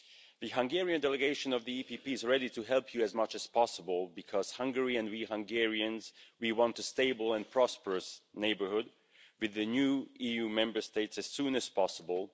The Hungarian delegation of the EPP is ready to help you as much as possible because Hungary, and we Hungarians, we want a stable and prosperous neighbourhood with the new EU Member States as soon as possible.